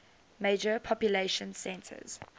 major population centers